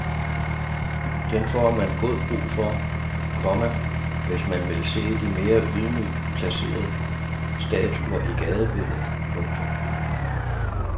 Den får man god brug for, komma hvis man vil se de mere ydmygt placerede statuer i gadebilledet. punktum